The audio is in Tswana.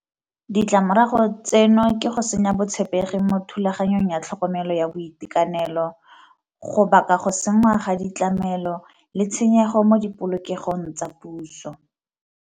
Ditlamorago tseno ke go senya botshepegi mo thulaganyong ya tlhokomelo ya boitekanelo, go baka go senngwa ga ditlamelo le tshenyego mo di polokegong tsa puso.